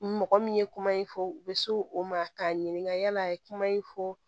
Mɔgɔ min ye kuma in fɔ u bɛ s'o o ma k'a ɲininka yala a ye kuma in fɔ